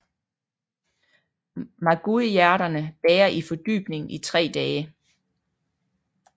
Magueyhjerterne bager i fordybningen i tre dage